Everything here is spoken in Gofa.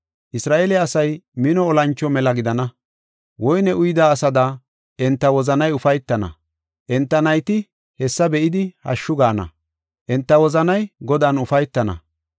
Isra7eele asay mino olancho mela gidana; woyne uyida asada enta wozanay ufaytana. Enta nayti hessa be7idi, hashshu gaana; enta wozanay Godan ufaytana.